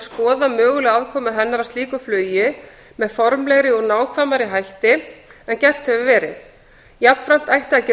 skoða mögulega aðkomu hennar að slíku flugi með formlegri og nákvæmari hætti en gert hefur verið jafnframt ætti að gera langtímaáætlun